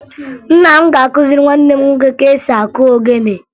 Nna m ga-akụziri nwanne m nwoke ka esi akụ ogene